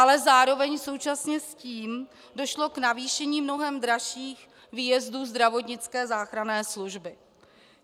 Ale zároveň současně s tím došlo k navýšení mnohem dražších výjezdů zdravotnické záchranné služby.